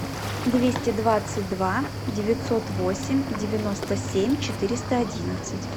двести двадцать два девятьсот восемь девяносто семь четыреста одиннадцать